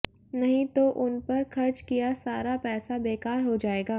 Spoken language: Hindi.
नहीं तो उन पर खर्च किया सारा पैसा बेकार हो जाएगा